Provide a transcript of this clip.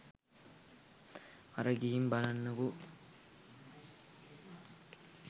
අර ගිහින් බලන්නකෝ